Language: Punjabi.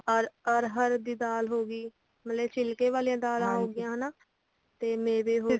or ਅਰਹਰ ਦੀ ਦਾਲ ਹੋਗਈ ਮਤਲਬ ਛਿਲ੍ਹਕੇ ਵਾਲੀਆਂ ਦਾਲਾਂ ਹੋਗੀਆਂ ਮੇਵੇ ਹੋ ਗਏ ਤੇ ਮੇਵੇ ਹੋਗੇ